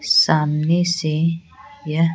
सामने से ये--